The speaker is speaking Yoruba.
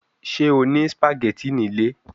Ṣe o ni spaghetti ni ile?